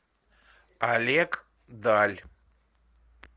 олег даль